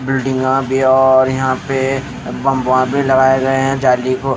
बिल्डिंगा भी और यहां पे बम्बा भी लगाए गए है जाली को--